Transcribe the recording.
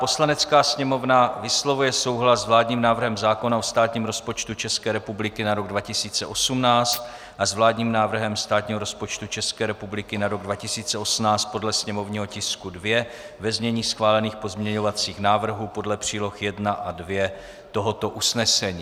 "Poslanecká sněmovna vyslovuje souhlas s vládním návrhem zákona o státním rozpočtu České republiky na rok 2018 a s vládním návrhem státního rozpočtu České republiky na rok 2018 podle sněmovního tisku 2, ve znění schválených pozměňovacích návrhů, podle příloh 1 a 2 tohoto usnesení."